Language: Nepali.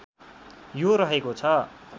यो रहेको छ